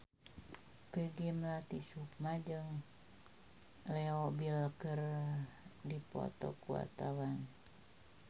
Peggy Melati Sukma jeung Leo Bill keur dipoto ku wartawan